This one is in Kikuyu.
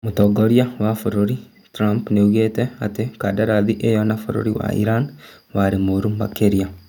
Mũtongoria wa bũrũri Trump nĩaugĩte atĩ kandarathi ĩyo na bũrũri wa Iran "warĩ mũru makĩria"